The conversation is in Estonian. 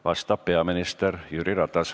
Vastab peaminister Jüri Ratas.